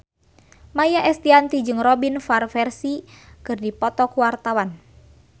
Maia Estianty jeung Robin Van Persie keur dipoto ku wartawan